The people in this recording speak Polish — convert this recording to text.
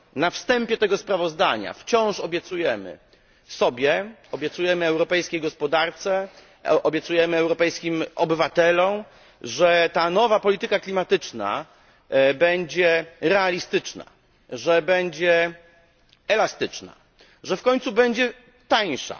Na wstępie tego sprawozdania wciąż obiecujemy sobie, europejskiej gospodarce, europejskim obywatelom, że ta nowa polityka klimatyczna będzie realistyczna, będzie elastyczna, że w końcu będzie tańsza.